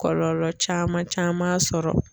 Kɔlɔlɔ caman caman sɔrɔ